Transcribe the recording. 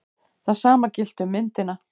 Það sama gilti um myndina.